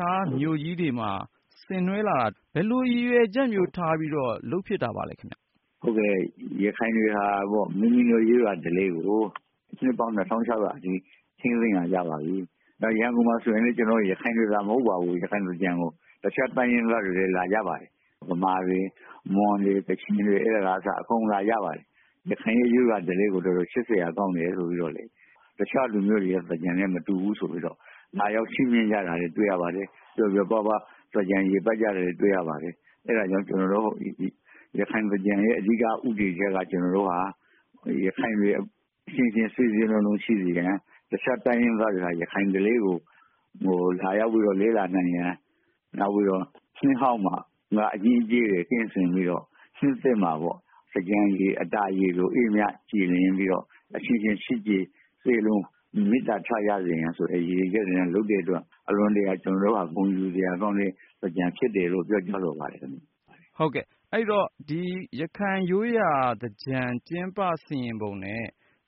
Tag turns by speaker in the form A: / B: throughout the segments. A: ြားမြို့ကြီးတွေမှာ ဆင်နွဲလာတာ ဘယ်လိုရည်ရွယ်ချက်မျိုးထားပြီးတော့ လုပ်ဖြစ်တာပ
B: ါသလဲခင်ဗျ။ ဒေါက်တာ စံလှကျော်။ ။ရခိုင်တွေဟာ မိမိတို့ရိုးရာဓလေ့ကို နှစ်ပေါင်း ၂၆၀၀ အထိ ထိန်းသိမ်းလာကြပါပြီ။ ရန်ကုန်မှာဆိုရင်လည်း ရခိုင်တွေသာမဟုတ်ပါဘူး ရခိုင်သင်္ကြန်ကို တခြားတိုင်းရင်းသားတွေလည်း လာကြပါတယ် မြန်မာတေ၊ွမွန်တွေ၊ ရှမ်းတွေကအစ အားလုံးအကုန်လာကြပါတယ်။ ရခိုင်ရိုးရာဓလေ့ကို ချစ်စရာကောင်းတယ်လို့ပြောတယ် တခြားလူမျိုးတွေရဲ့ သင်္ကြန်နဲ့မတူဘူးဆိုပြီးတော့ လာရောက်ပါဝင်ကြတာတွေ့ရပါတယ်။ ပျော်ပျော်ပါးပါး သင်္ကြန်ရေပတ်ကြတာတွေတွေ့ရပါတယ်။ အဲဒါကြောင့် ကျနေ်ာတို့ ရခိုင်သင်္ကြန်ရဲ့ အဓိကဦးတည်ချက်ကတော့ ကျနေ်ာတို့ရခိုင်တွေအချင်းချင်းစည်းစည်းလုံးလုံးရှိစေရန်၊ တခြားတိုင်းရင်းသားတွေက ရခိုင်ဓလေ့ကို လာရောက်ပြီးတော့ လေ့လာနိုင်ရန်၊နောက်ပြီးတော့ နှစ်ဟောင်းမှာ အညစ်အကြေးတွေကင်းစင်စေပြီးတော့ နှစ်သစ်မှာပေါ့နော် သင်္ကြန်ရေအတာရေ လိုအေးမြပြီးတော့ အေးမြကြည်လင်ပြီးတော့ အချင်းချင်းချစ်ခင်စည်းလုံးညီညွတ်မူများ ရစေရန်ဆိုတဲ့ရည်ရွယ်ချက်နဲ့ လုပ်တဲ့အတွက် အလွန်တရာ ကျနေ်ာတို့က ဂုဏ်ယူဆရာကောင်းတဲ့ သင်္ကြန်ဖြစ်တယ်လို့ ပြောကြားလိုပါတယ်။ ကိုဉာဏ်ဝင်းအ
A: ောင်။ ။အဲဒီတော့ ရခိုင်ရိုးရာသင်္ကြန်ကျင်းပပုံနဲ့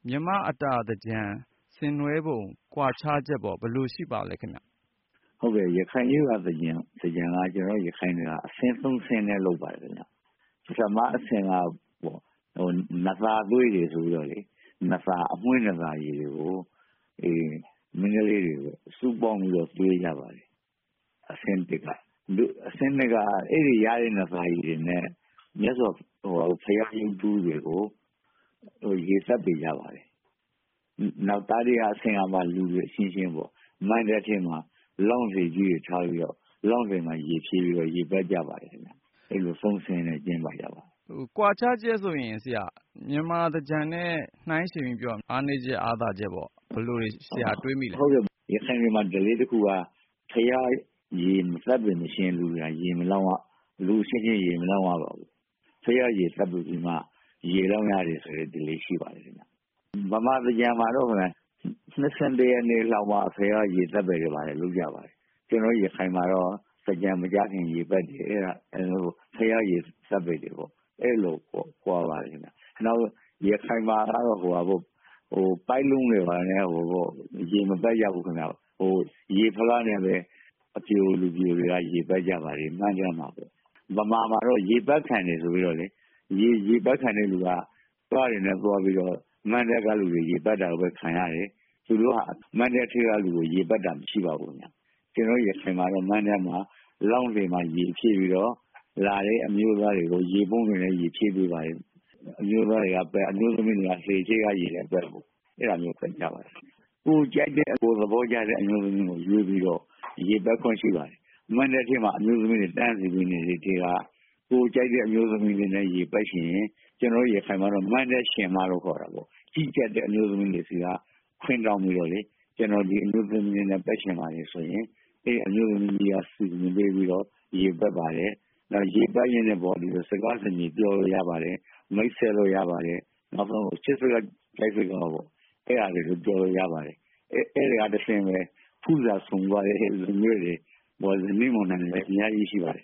A: မြန်မာ့ရိုးရာအတာသင်္ကြန် ဆင်နွဲပုံကွာခြားချက်ရော ဘယ်လိုရှိပါသလဲခင်ဗျ။
B: ဒေါက်တာ စံလှကျော်။ ။ရခိုင်ရိုးရာသင်္ကြန်ကတော့ ကျနော်တို့ ရခိုင်တွေက အဆင့် ၃ ဆင့်နဲ့ လုပ်ပါတယ်ခင်ဗျ၊ ပထမအဆင့်ကတော့ နံသာသွေးရေ ဆိုပြီးတော့ အမွှေးနံသာရေကို မိန်းကလေးတွေကို ဆုပေါင်းပြီးတော့ သွေးကြပါတယ်။ အဆင့်၂ ကတော့ အဲဒီရတဲ့ နံသာရေတွေနဲ့ ဘုရားရုပ်တုတွေကို ရေသပ္ပါယ်ကြပါတယ်။ နောက်တတိယအဆင့်ကမှ လူတွေအချင်းချင်းပေါ့ လောင်းစင်ကြီးတွေချပြီးတော့ ရေပက်ကြပါတယ်။ အဲလို ၃ ဆင့်နဲ့ ကျင်းပကြပါတယ်။
A: ကိုဉာဏ်ဝင်းအောင်။ ။မြန်မာသင်္ကြန်နဲ့ နိုင်းယှဉ်ပြီးပြောရင်အားနည်းချက်အားသာ
B: ချက် ဘယ်လိုရှိပါသလဲ။ ဒေါက်တာ စံလှကျော်။ ။ဟုတ်ကဲ့ ရခိုင်တွေမှာ ဓလေ့တခုကတော့ ဘုရားရေသပ္ပါယ် မလုပ်သေးသရွေ့လူအချင်းချင်း ရေမလောင်းရပါဘူး။ ဘုရားရေသပ္ပါယ်ပြီးမှ ရေလောင်းရတယ်ဆိုတဲ့ ဓလေ့ရှိပါတယ်ခင်ဗျ။မြန်မာသင်္ကြန်မှာတော့ ၁၄ ရက်နေ့လောက်မှ ဘုရားရေသပ္ပါယ်တာတွေလုပ်ကြပါတယ်ခင်ဗျ ။ ကျနေ်ာတို့ ရခိုင်တွေမှာတော့ သင်္ကြန်မကျခင်ကတည်းက ဘုရားရေသပ္ပါယ်တာတွေကို အဲဒီလို ကွာပါတယ်ခင်ဗျ။ ရခိုင်တွေမှာတော့ ပိုက်လုံးတွေဘာတွေနဲ့ ရေမပက်ကြဘူးခင်ဗျ ရေဖလားနဲ့ပဲ အပျိုလူပျိုတွေက ရေပတ်ကြပါတယ်ခင်ဗျ။ မြန်မာမှာတော့ ရေပက်ခံတယ်ဆိုပြီးတော့ ရေပတ်ခံတဲ့လူက သွားရင်လည်း မဏ္ဍပ်ကလူတွေရေပက်တာတွေကိုခံရတယ်၊ မဏ္ဍပ်ကလူကို ရေပက်တာတော့မရှိပါဘူး ကျနော်တို့ ရခိုင်မှာတော့ မဏ္ဍပ်လောင်းစင်မှာ ရေဖြည့်ပြီးတော့ လာတဲ့အမျိုးသားတွေကို ရေပုံးတွေနဲ့ ရေဖြည့်ပေးပါတယ်။ အမျိုးသားတွေက ရေပက် အမျိုးသမီးတွေက အရှေ့ကနေပက်အဲဒီလိုမျိုးခွဲထားပါတယ် ။ ကိုယ်ကြိုက်တဲ့သဘောကျတဲ့ အမျိုးသမီးကို ရေပက်ခွင့်ရှိပါတယ် မဏ္ဍပ်ထဲမှာ အမျိုးသမီးတွေတန်းစီပြီးနေတဲ့အထဲက ကိုယ်ကြိုက်တဲ့အမျိုးသမီးကို ရေပက်ချင်ရင် ကျနေ်ာတို့ရခိုင်မှာတော့ မဏ္ဍပ်ရှင်မလို့ခေါ်တာပေါ့ ကြီးကြပ်တဲ့အမျိုးသမီးကနေခွင့်တောင်းပြိးတော့ ကျနော်ဒီအမျိုးသမီးလေးကို ရေပက်ချင်ပါတယ် ဆိုရင် အဲဒီအမျိုးသမီးက စီစဉ်ပေးပြီးတော့ ရေပက်ပါတယ်၊ ရေပက်ရင်းနဲ့ စကားပြောလို့ရပါတယ် မိတ်ဆက်လို့ရပါတယ်၊ ချစ်စကားတွေလည်းပြောလို့ရပါတယ်။ အဲဒီကတဆင့် ဖူးစာဆုံသွားတဲ့ ဇနီးမောင်နှံတွေလည်းအများကြီးရှိပါတယ်ခင